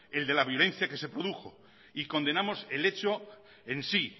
el de la violencia que se produjó y condenamos el hecho en sí